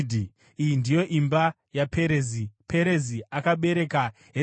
Iyi ndiyo imba yaPerezi: Perezi akabereka Hezironi,